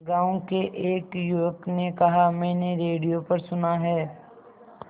गांव के एक युवक ने कहा मैंने रेडियो पर सुना है